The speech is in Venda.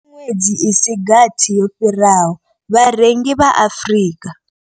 Kha miṅwedzi i si gathi yo fhiraho, vharengi vha Afrika.